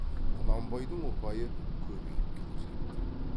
құнанбайдың ұпайы көбейіп келе жатты